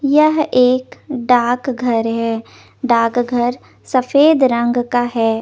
यह एक डाक घर है डाक घर सफ़ेद रंग का है ।